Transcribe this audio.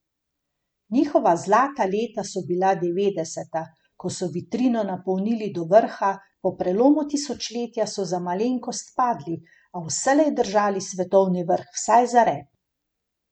Njihova zlata leta so bila devetdeseta, ko so vitrino napolnili do vrha, po prelomu tisočletja so za malenkost padli, a vselej držali svetovni vrh vsaj za rep.